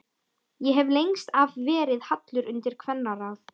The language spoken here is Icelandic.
Ég hef lengst af verið hallur undir kvennaráð.